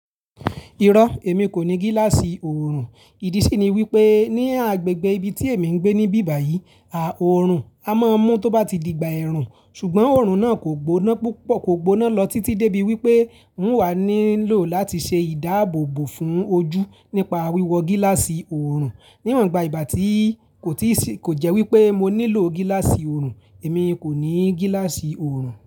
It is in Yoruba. Irọ́, èmi kò ní gíláàsì oòrùn. Ìdí sì ni wípé ní agbègbè ibi tí èmi ń gbé níbí báyìí, a oòrùn a máa mú tó bá ti digbà ẹ̀rùn, ṣùgbọ́n oòrùn náà kò gbóná púpọ̀, kò gbóná lọ títí débí wípé n wà nílò láti ṣe ìdáàbòbò fún ojú nípa wíwọ gíláàsì oòrùn. Níwọ̀n iba ìgbà tí kò tii si, ko jẹ́ wípé mo nílò gíláàsì oòrùn, èmi kò ní gíláàsì oòrùn.